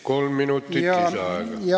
Kolm minutit lisaaega.